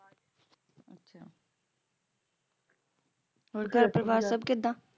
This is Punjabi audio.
ਹੋਰ ਘਰ ਪਰਿਵਾਰ ਸਭ ਕਿਦਾਂ